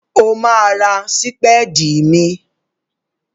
Ó máa ra sípédì míì.